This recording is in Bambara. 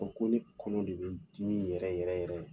ko ne kɔnɔ de bɛ dimi yɛrɛ yɛrɛ yɛrɛ.